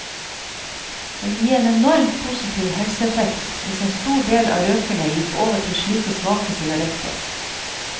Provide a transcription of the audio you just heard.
Det ville gi en enormt positiv helseeffekt hvis en stor del av røkerne gikk over til slike svake sigaretter.